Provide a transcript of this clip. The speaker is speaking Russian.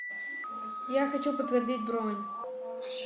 я хочу подтвердить бронь